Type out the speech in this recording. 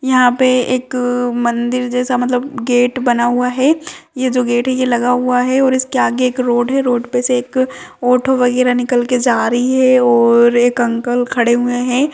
यहाँ पे एक मंदिर जैसा मतलब गेट बना हुआ है ये जो गेट है ये लगा हुआ है और इसके आगे एक रोड है रोड पे से एक ऑटो वगैरा निकलके जा रही है और एक अंकल खड़े हुए है।